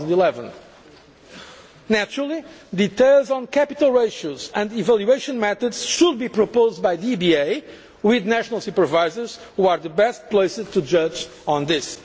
end of 2011. Naturally, details on capital ratios and evaluation methods should be proposed by the EBA with national supervisors, who are best placed to judge